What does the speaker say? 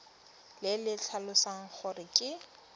le le tlhalosang gore ke